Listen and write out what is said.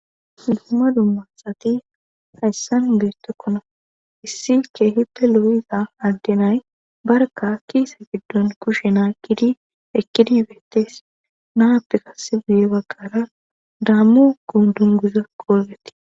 duumma dummassati hayssan beettekkona issike hippe lo7iza addenay barka kiisa giddun kushe naqqidi eqqidi beettees naappe qasse guye baggara dammo dunguza qolfeti